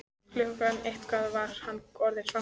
Klukkan eitt var hann orðinn svangur.